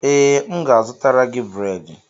Ee, m ga-azụtara gị bredị